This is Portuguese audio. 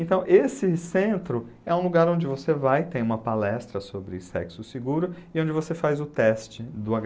Então esse centro é um lugar onde você vai, tem uma palestra sobre sexo seguro e onde você faz o teste do agá i.